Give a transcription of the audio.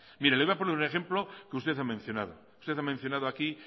mire le voy a poner un ejemplo que usted ha mencionado usted ha mencionado aquí